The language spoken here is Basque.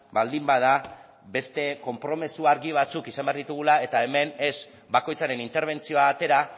baldin bada beste konpromiso argi batzuk izan behar ditugula eta hemen ez bakoitzaren interbentzioa atera